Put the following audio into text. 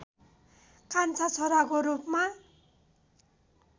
कान्छा छोराको रूपमा